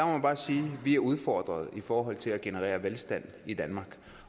man bare sige at vi er udfordret i forhold til at generere velstand i danmark